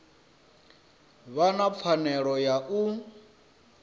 vha na pfanelo ya u